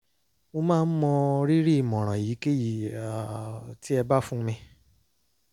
mo máa mọ rírì ìmọ̀ràn èyíkéyìí um tí ẹ bá fún mi